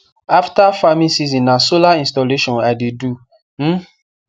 after farming season na solar installation i de do um